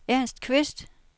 Ernst Qvist